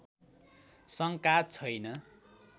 शङ्का छैन